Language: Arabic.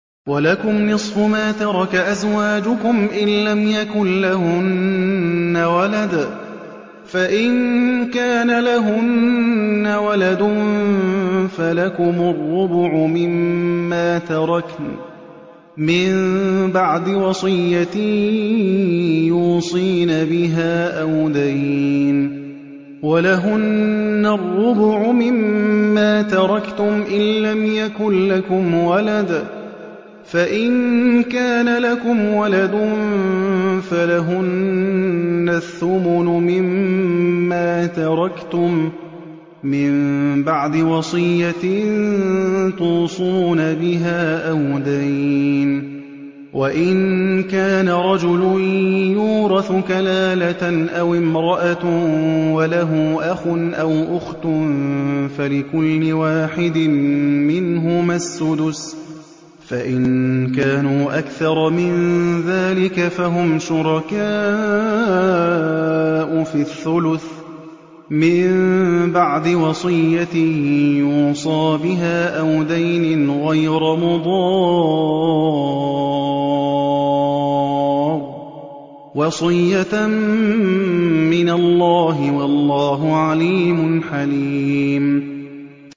۞ وَلَكُمْ نِصْفُ مَا تَرَكَ أَزْوَاجُكُمْ إِن لَّمْ يَكُن لَّهُنَّ وَلَدٌ ۚ فَإِن كَانَ لَهُنَّ وَلَدٌ فَلَكُمُ الرُّبُعُ مِمَّا تَرَكْنَ ۚ مِن بَعْدِ وَصِيَّةٍ يُوصِينَ بِهَا أَوْ دَيْنٍ ۚ وَلَهُنَّ الرُّبُعُ مِمَّا تَرَكْتُمْ إِن لَّمْ يَكُن لَّكُمْ وَلَدٌ ۚ فَإِن كَانَ لَكُمْ وَلَدٌ فَلَهُنَّ الثُّمُنُ مِمَّا تَرَكْتُم ۚ مِّن بَعْدِ وَصِيَّةٍ تُوصُونَ بِهَا أَوْ دَيْنٍ ۗ وَإِن كَانَ رَجُلٌ يُورَثُ كَلَالَةً أَوِ امْرَأَةٌ وَلَهُ أَخٌ أَوْ أُخْتٌ فَلِكُلِّ وَاحِدٍ مِّنْهُمَا السُّدُسُ ۚ فَإِن كَانُوا أَكْثَرَ مِن ذَٰلِكَ فَهُمْ شُرَكَاءُ فِي الثُّلُثِ ۚ مِن بَعْدِ وَصِيَّةٍ يُوصَىٰ بِهَا أَوْ دَيْنٍ غَيْرَ مُضَارٍّ ۚ وَصِيَّةً مِّنَ اللَّهِ ۗ وَاللَّهُ عَلِيمٌ حَلِيمٌ